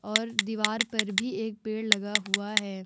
और दीवार पर भी एक पेड़ लगा हुआ है ।